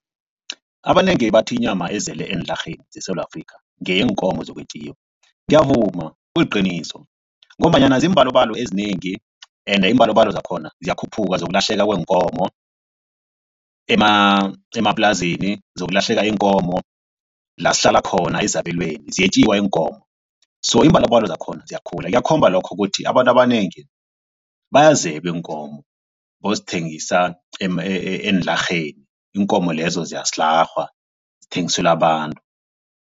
Abanengi bathi inyama ezele eenlarheni zeSewula Afrika ngeyeenkomo zokwetjiwa. Ngiyavuma kuliqiniso ngombanyana ziimbalobalo ezinengi ende iimbalobalo zakhona ziyakhuphuka zokulahleka kweenkomo emaplazini zokulahleka iinkomo la sihlala khona ezabelweni ziyetjiwa iinkomo. So iimbalobalo zakhona ziyakhula kuyakhomba lokho ukuthi abantu abanengi bayazabe iinkomo bayozithengisa eenlarheni iinkomo lezo ziyasilarhwa zithengiselwe abantu.